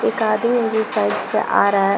एक आदमी जिस साइड से आ रहा है।